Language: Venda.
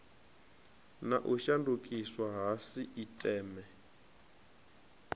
na u shandukiswa ha sisiteme